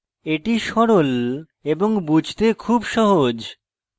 easy সরল এবং বুঝতে খুব সহজ